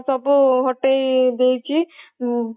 ସବୁ ହଟେଇଦେଇଛି